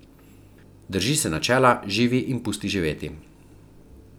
Drži se načela živi in pusti živeti.